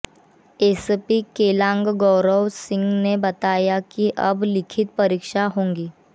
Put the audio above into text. SP Keylong Gaurav Singh ने बताया कि अब लिखित परीक्षा होगी